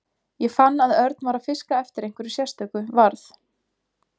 Ég fann að Örn var að fiska eftir einhverju sérstöku varð